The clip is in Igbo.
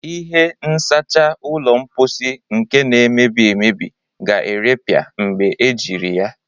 Ihe nsacha ụlọ mposi nke na-emebi emebi ga-erepịa mgbe ejiri ya.